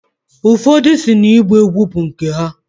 Ụfodụ si na igba egwu bu nke ha.